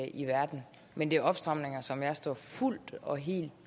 i verden men det er opstramninger som jeg står fuldt og helt